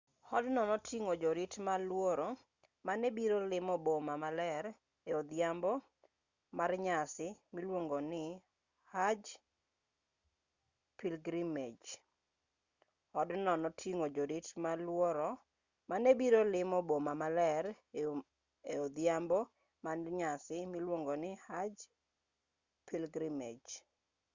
odno noting'o jorit malworo ma ne biro limo boma maler e odhiambo mar nyasi miluongo ni hajj pilgrimage